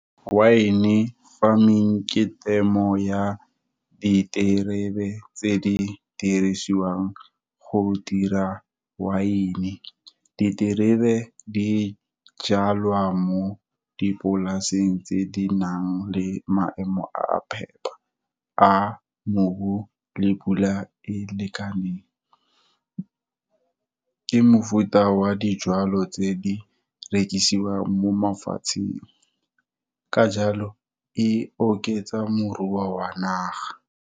Wine-e farming, ke temo ya diterebe tse di dirisiwang go dira wine-e, Diterebe di jalwa mo dipolaseng tse di nang le maemo a a phepa, a mobu le pula e lekaneng, ke mofuta wa dijwalo tse di rekisiwang mo mafatsheng, ka jalo e oketsa moruo wa naga.